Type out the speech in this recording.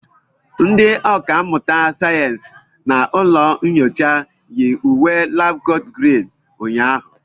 Ndị ọkà mmụta sayensị na ụlọ nyocha yi uwe labkot Green ụnyaahụ.